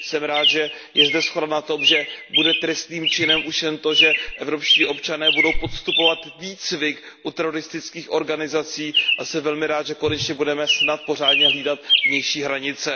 Jsem rád, že je zde shoda na tom, že bude trestným činem už jen to, že evropští občané budou podstupovat výcvik u teroristických organizací, a jsem velmi rád, že konečně budeme snad pořádně hlídat vnější hranice.